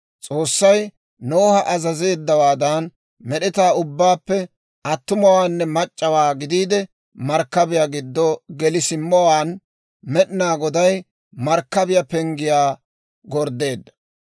S'oossay Noha azazeeddawaadan, med'etaa ubbaappe attumawaanne mac'c'awaa gidiide, markkabiyaa giddo geli simmowaan, Med'inaa Goday markkabiyaa penggiyaa gorddeedda.